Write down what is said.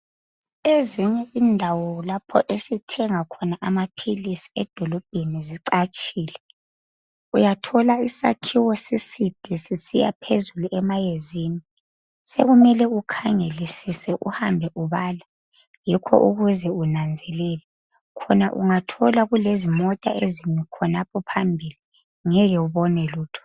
Ezinye indawo lapho esithenga khona amaphilisi edolobheni zicatshile. Uyathola isakhiwo siside sisiya phezulu emayezini. Sekumele ukhangelisise, uhambe ubala yikho ukuze unanzelele. Khona ungathola kulezimota ezimi khonapho phambili, ngeke ubone lutho.